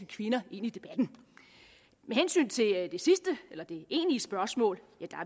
kvinder ind i debatten med hensyn til det egentlige spørgsmål